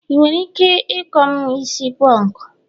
ị nwere ike ikou'm isi punku?